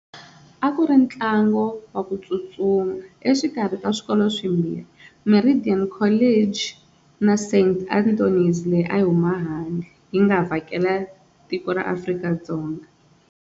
A ku ri ntlangu wa ku tsutsuma exikarhi ka swikolo swimbirhi Meridian College na Saint leyi a yi huma ehandle yi nga vhakela tiko ra Afrika-Dzonga.